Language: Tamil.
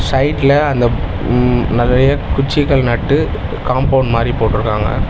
சைடுல அந்த ம் நெறைய குச்சிகள் நட்டு காம்பவுண்ட் மாரி போட்ருக்காங்க.